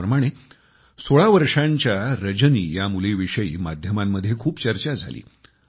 त्याचप्रमाणे 16 वर्षांच्या रजनी ह्या मुलीविषयी माध्यमांमध्ये खूप चर्चा झाली